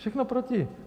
Všechno proti!